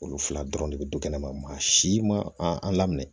Olu fila dɔrɔn de bɛ du kɛnɛ ma maa si ma a laminɛ